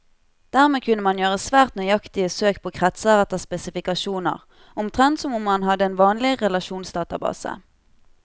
Dermed kunne man gjøre svært nøyaktige søk på kretser etter spesifikasjoner, omtrent som om man hadde en vanlig relasjonsdatabase.